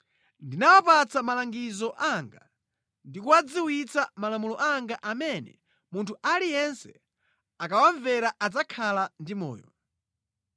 Ndinawapatsa malangizo anga ndi kuwadziwitsa malamulo anga amene munthu aliyense akawamvera adzakhala ndi moyo.